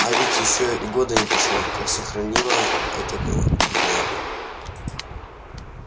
а ведь ещё и года не прошло как сохранила этого беднягу